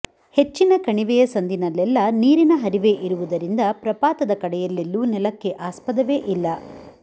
ಹೆಚ್ಚಿನ ಕಣಿವೆಯ ಸಂದಿನಲ್ಲೆಲ್ಲ ನೀರಿನ ಹರಿವೆ ಇರುವುದರಿಂದ ಪ್ರಪಾತದ ಕಡೆಯಲ್ಲೆಲ್ಲೂ ನೆಲಕ್ಕೆ ಆಸ್ಪದವೇ ಇಲ್ಲ